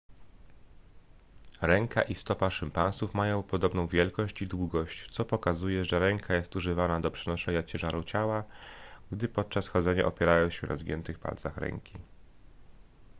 ręka i stopa szympansów mają podobną wielkość i długość co pokazuje że ręka jest używana do przenoszenia ciężaru ciała gdy podczas chodzenia opierają się na zgiętych palcach ręki